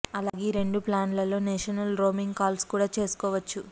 అలాగే ఈ రెండు ప్లాన్లలో నేషనల్ రోమింగ్ కాల్స్ కూడా చేసుకోవచ్చు